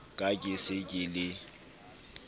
ka ke se ke le